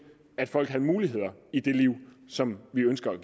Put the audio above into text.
at folk havde muligheder i det liv som vi ønsker